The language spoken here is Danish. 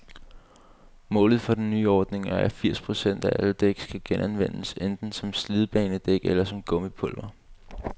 Målet for den nye ordning er, at firs procent af alle dæk skal genanvendes, enten som slidbanedæk eller som gummipulver.